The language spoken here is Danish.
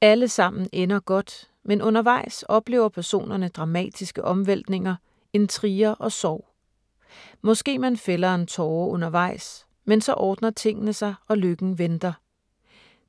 Alle sammen ender godt, men undervejs oplever personerne dramatiske omvæltninger, intriger og sorg. Måske man fælder en tåre undervejs, men så ordner tingene sig og lykken venter.